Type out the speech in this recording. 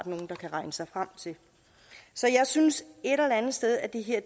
nogle der kan regne sig frem til så jeg synes et eller andet sted at det her